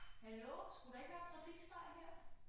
Hallo skulle der ikke være trafikstøj her?